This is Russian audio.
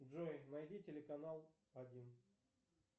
джой найди телеканал один